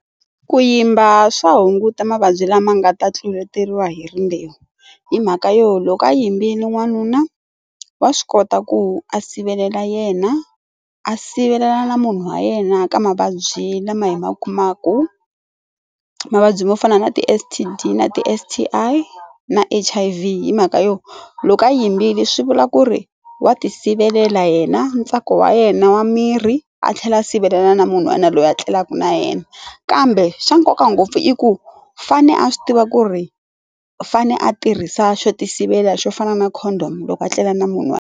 Ku yimba swa hunguta mavabyi lama nga ta tluletiwaka hi rimbewu hi mhaka yo loko a yimbile n'wanuna wa swi kota ku a sivelela yena a sivelela na munhu wa yena ka mavabyi lama hi ma kumaka mavabyi mo fana na ti S_T_D na ti S_T_I na H_I_V hi mhaka yo loko a yimbile swi vula ku ri wa ti sivelela yena ntsako wa yena wa mirhi a tlhela sivelela na munhu was yena loyi a tlelaka na yena kambe xa nkoka ngopfu i ku fane a swi tiva ku ri fane a tirhisa xo ti sivela xo fana na condom loko a tlela na munhu a.